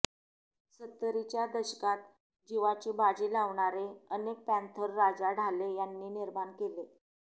सत्तरीच्या दशकात जीवाची बाज़ी लावणारे अनेक पँथर राजा ढाले यांनी निर्माण केले